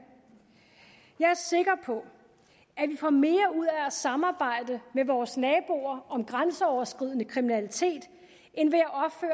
jeg er sikker på at vi får mere ud af at samarbejde med vores naboer om grænseoverskridende kriminalitet end ved